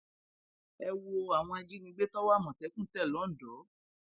ẹ wo àwọn ajínigbé tọwọ àmọtẹkùn tẹ lọńdọ